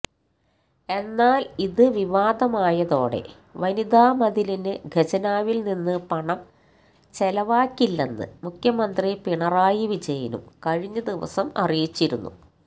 എന്നാല് ഇത് വിവാദമായതോടെ വനിതാമതിലിന് ഖജനാവില് നിന്ന് പണം ചെലവാക്കില്ലെന്ന് മുഖ്യമന്ത്രി പിണറായി വിജയനും കഴിഞ്ഞ ദിവസം അറിയിച്ചിരുന്നു